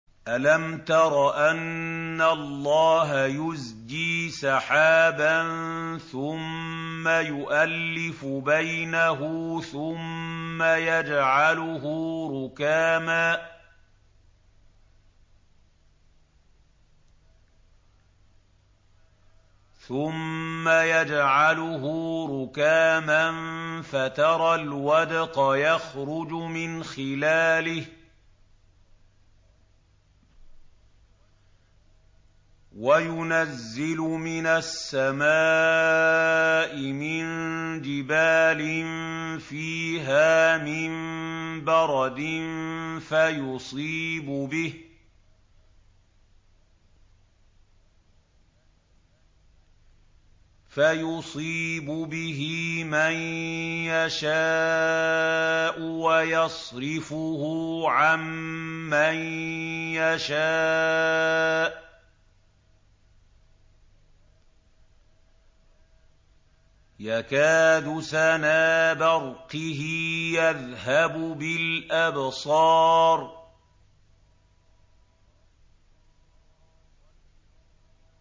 أَلَمْ تَرَ أَنَّ اللَّهَ يُزْجِي سَحَابًا ثُمَّ يُؤَلِّفُ بَيْنَهُ ثُمَّ يَجْعَلُهُ رُكَامًا فَتَرَى الْوَدْقَ يَخْرُجُ مِنْ خِلَالِهِ وَيُنَزِّلُ مِنَ السَّمَاءِ مِن جِبَالٍ فِيهَا مِن بَرَدٍ فَيُصِيبُ بِهِ مَن يَشَاءُ وَيَصْرِفُهُ عَن مَّن يَشَاءُ ۖ يَكَادُ سَنَا بَرْقِهِ يَذْهَبُ بِالْأَبْصَارِ